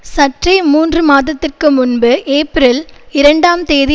சற்றே மூன்று மாதத்திற்கு முன்பு ஏப்பிரல் இரண்டாம் தேதி